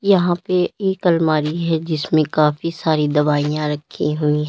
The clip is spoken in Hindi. यहां पे एक अलमारी है जिसमें काफी सारी दवाईयां रखी हुई हैं।